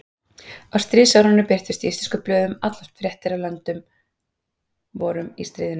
Á stríðsárunum birtust í íslenskum blöðum alloft fréttir af löndum vorum í stríðinu.